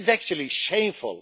This is actually shameful.